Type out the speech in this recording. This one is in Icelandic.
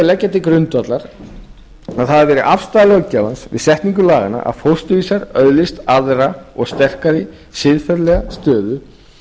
leggja til grundvallar að það hafi verið afstaða löggjafans við setningu laganna að fósturvísar öðlist aðra og sterkari siðferðilega stöðu